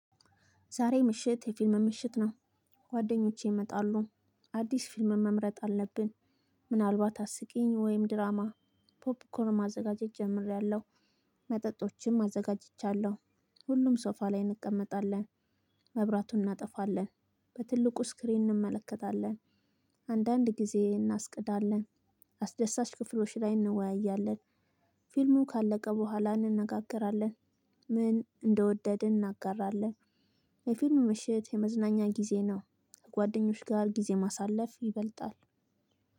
ዛሬ ምሽት የፊልም ምሽት ነው። ጓደኞቼ እመጣለሁ አዲስ ፊልም መምረጥ አለብን። ምናልባት አስቂኝ ወይም ድራማ ፖፕኮር ማዘጋጀት ጀምሬያለሁ። መጠጦችም አዘጋጅቻለሁ። ሁሉም ሶፋ ላይ እንቀመጣለን። መብራቱን እናጠፋለን። በትልቁ ስክሪን እንመለከታለን። አንዳንድ ጊዜ እናስቅዳለን። አስደሳች ክፍሎች ላይ እንወያያለን። ፊልሙ ካለቀ በኋላ እንነጋገራለን። ምን እንደ ወደድን እናጋራለን። ለሁሉም ሰው የመዝናኛ ጊዜ ነው። ጓ ደኞች ጋር ጊዜ ማሳለፍ ይበልጣል።